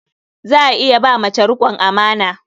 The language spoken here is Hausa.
Za a iya ba mace riƙon amana.